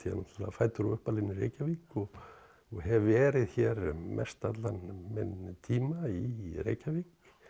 náttúrulega fæddur og uppalinn í Reykjavík og hef verið hér mest allan minn tíma í Reykjavík